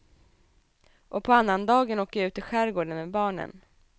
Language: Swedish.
Och på annandagen åker jag ut till skärgården med barnen.